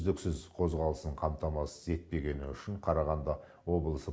үздіксіз қозғалысын қамтамасыз етпегені үшін қарағанды облысы